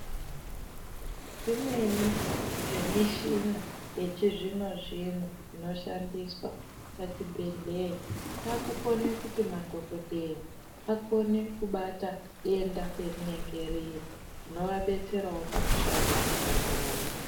Zvimweni zvemushina yechizvino zvino inoshandiswa pazvibhehlera zvakukona kuti madokotera akone kubata denda parinenge riri inoabetserawo pakushanda pawo.